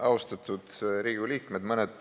Austatud Riigikogu liikmed!